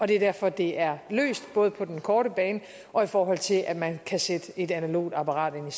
det er derfor det er løst både på den korte bane og i forhold til at man kan sætte et analogt apparat ind